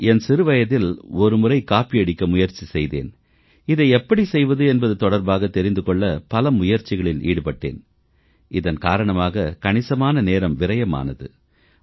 நான் என் சிறுவயதில் ஒரு முறை காப்பியடிக்க முயற்சி செய்தேன் இதை எப்படி செய்வது என்பது தொடர்பாகத் தெரிந்து கொள்ள பல முயற்சிகளில் ஈடுபட்டேன் இதன் காரணமாக கணிசமான நேரம் விரயமானது